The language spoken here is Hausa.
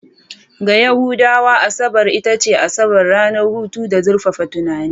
Ga Yahudawa, Asabar ita ce Asabar, ranar hutu da zurfafa tunani.